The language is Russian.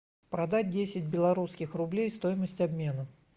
продать десять белорусских рублей стоимость обмена